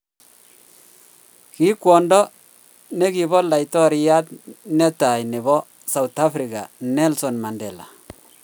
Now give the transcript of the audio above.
Ki kwondo negipo Laitoriat netai nepo South africa Nelson Mandela